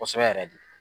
Kosɛbɛ yɛrɛ de